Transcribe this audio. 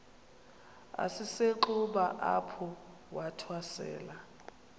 esisenxuba apho wathwasela